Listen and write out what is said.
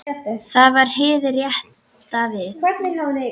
Það var hið rétta verð.